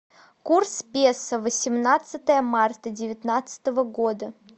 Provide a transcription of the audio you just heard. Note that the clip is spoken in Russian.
курс песо восемнадцатое марта девятнадцатого года